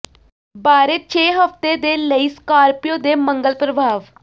ਬਾਰੇ ਛੇ ਹਫ਼ਤੇ ਦੇ ਲਈ ਸਕਾਰਪੀਓ ਦੇ ਮੰਗਲ ਪ੍ਰਭਾਵ